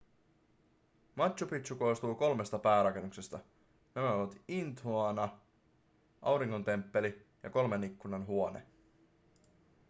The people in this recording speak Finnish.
machu picchu koostuu kolmesta päärakennuksesta nämä ovat intihuatana auringon temppeli ja kolmen ikkunan huone